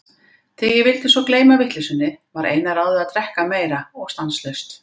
Þegar ég svo vildi gleyma vitleysunni, var eina ráðið að drekka meira og stanslaust.